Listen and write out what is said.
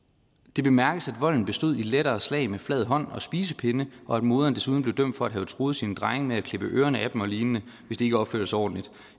det bemærkes at volden bestod i lettere slag med flad hånd og spisepinde og at moderen desuden blev dømt for at have truet sine drenge med at klippe ørerne af dem olign hvis de ikke opførte sig ordentligt